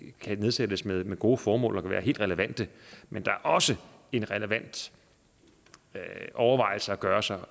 kan nedsættes med med gode formål og kan være helt relevante men der er også en relevant overvejelse at gøre sig